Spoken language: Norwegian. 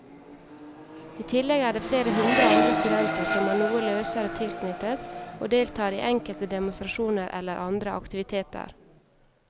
I tillegg er det flere hundre andre studenter som er noe løsere tilknyttet og deltar i enkelte demonstrasjoner eller andre aktiviteter.